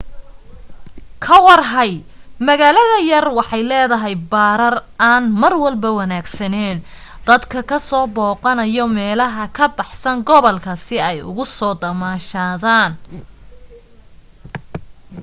ka warhay magaalada yar waxay leedahay barar aan marwalba wanaagsaneen dadka ka soo boqanayo meelaha ka baxsan gobolka si ay ugu soo damashadan